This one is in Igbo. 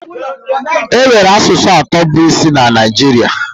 Enwere asụsụ atọ bụ isi na Naijiria.